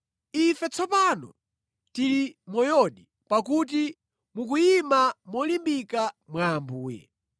Ife tsopano tili moyodi, pakuti mukuyima molimbika mwa Ambuye.